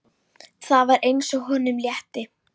Það var eins og honum létti.